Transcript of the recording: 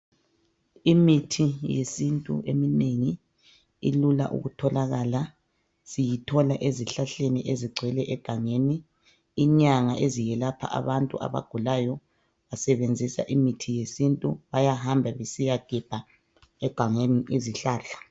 Imithi yesintu eminengi ilula ukutholakala. Siyithola ezihlahlani ezigcwele egangeni inyanga ezelapha abantu abagula zisebenzisa imithi yesintu. Bayahamba besiyagemba egangeni izihlahla.